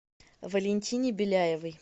валентине беляевой